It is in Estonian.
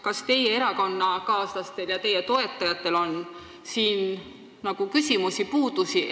Kas teie erakonnakaaslaste ja teie toetajate jaoks on siin küsimusi või puudusi?